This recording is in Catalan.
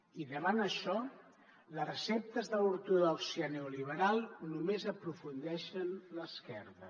i davant d’això les receptes de l’ortodòxia neoliberal només aprofundeixen l’esquerda